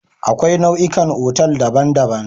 Akwai nau'ikan otal daban-daban.